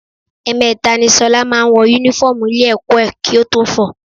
Ẹ̀ẹ̀mẹta ni ṣọlá máa ń wọ Únífọ́ọ̀mù ilé-ẹ̀kọ́ ẹ̀ kí ó tó fọ̀ ọ́